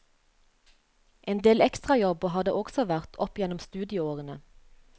En del ekstrajobber har det også vært opp igjennom studieårene.